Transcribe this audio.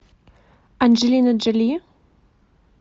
анджелина джоли